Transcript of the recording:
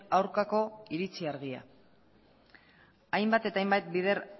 aurkako iritzi argia hainbat eta hainbat bider